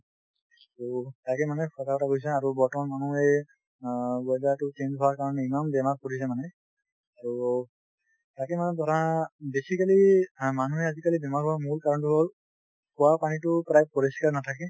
তো তাকে মানে সঁচা কথা কৈছা আৰু বৰ্তমান মানুহে অ weather টো change হোৱা কাৰণে ইমান বেমাৰ পৰিছে মানে তো তাকে মানে ধৰা basically মানুহে আজিকালি বেমাৰ হোৱা মূল কাৰণটো হল খোৱাপানীটো প্ৰায় পৰিস্কাৰ নাথাকে